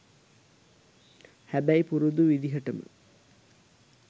හැබැයි පුරුදු විදිහටම